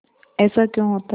ऐसा क्यों होता है